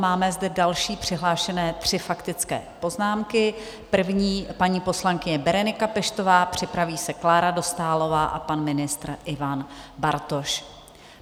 Máme zde další přihlášené tři faktické poznámky, první paní poslankyně Berenika Peštová, připraví se Klára Dostálová a pan ministr Ivan Bartoš.